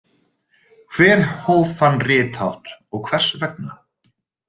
Hver hóf þann rithátt og hvers vegna?